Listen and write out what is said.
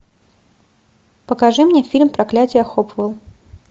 покажи мне фильм проклятие хопвелл